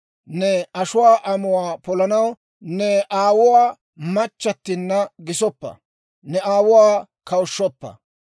Ne ashuwaa amuwaa polanaw ne aawuwaa machchattinna gisoppa; ne aawuwaa kawushshoppa.